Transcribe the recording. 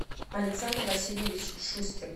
александр васильевич шустер